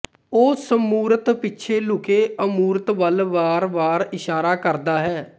ਉਹ ਸਮੂਰਤ ਪਿਛੇ ਲੁਕੇ ਅਮੂਰਤ ਵਲ ਵਾਰਵਾਰ ਇਸ਼ਾਰਾ ਕਰਦਾ ਹੈ